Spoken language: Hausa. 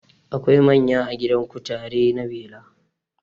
Akwai manya a gidan kutare na bela